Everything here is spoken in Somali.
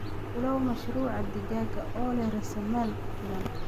Bilow mashruuca digaaga oo leh raasamaal ku filan.